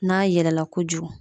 N'a yɛlɛla kojugu